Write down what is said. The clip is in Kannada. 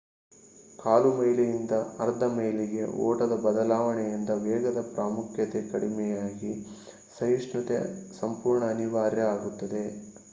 ಕಾಲು ಮೈಲಿಯಿಂದ ಅರ್ಧ ಮೈಲಿಗೆ ಓಟದ ಬದಲಾವಣೆಯಿಂದ ವೇಗದ ಪ್ರಾಮುಖ್ಯತೆ ಕಡಿಮೆಯಾಗಿ ಸಹಿಷ್ಣುತೆ ಸಂಪೂರ್ಣ ಅನಿವಾರ್ಯ ಆಗುತ್ತದೆ